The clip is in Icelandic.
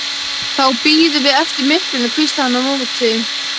Þá bíðum við eftir myrkrinu, hvíslaði hann á móti.